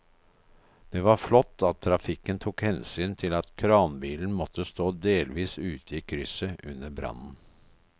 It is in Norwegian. Det var flott at trafikken tok hensyn til at kranbilen måtte stå delvis ute i krysset under brannen.